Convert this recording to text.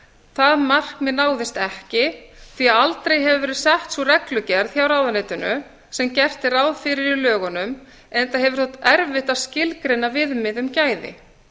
það markmið náðist ekki því að aldrei hefur verið sett sú reglugerð hjá ráðuneytinu sem gert er ráð fyrir í lögunum enda hefur þótt erfitt að skilgreina viðmið um gæði